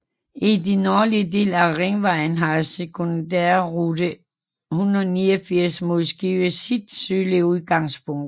I den nordlige del af Ringvejen har sekundærrute 189 mod Skive sit sydlige udgangspunkt